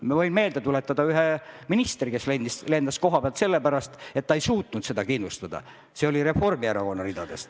Ma võin meelde tuletada ühe ministri, kes lendas kohapealt selle pärast, et ta ei suutnud seda kindlustada – see oli Reformierakonna ridadest.